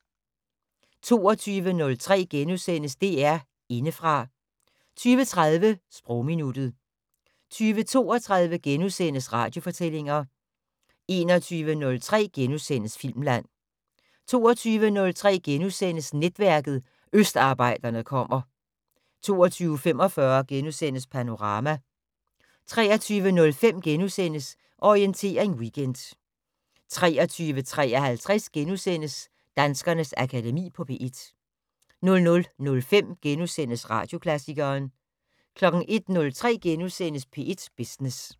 20:03: DR Indefra * 20:30: Sprogminuttet 20:32: Radiofortællinger * 21:03: Filmland * 22:03: Netværket: Østarbejderne kommer * 22:45: Panorama * 23:05: Orientering Weekend * 23:53: Danskernes Akademi på P1 * 00:05: Radioklassikeren * 01:03: P1 Business *